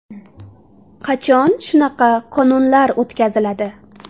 Qachon shunaqa qonunlar o‘tkaziladi?